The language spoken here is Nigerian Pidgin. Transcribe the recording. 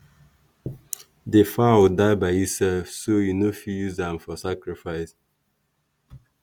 the fowl die by itself so e no fit use am for sacrifice.